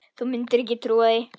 Þú mundir ekki trúa því.